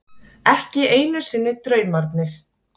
Ekki einu sinni draumarnir.